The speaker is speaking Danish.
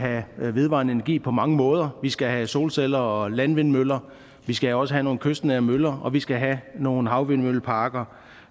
have vedvarende energi på mange måder vi skal have solceller og landvindmøller vi skal også have nogle kystnære møller og vi skal have nogle havvindmølleparker